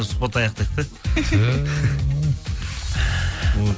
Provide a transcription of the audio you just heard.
сұхбатты аяқтайық та